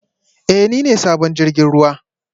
Ee, ni ne sabon jirgin ruwa